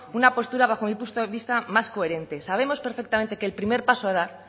una postura bajo mi punto de vista más coherente sabemos perfectamente que el primer paso a dar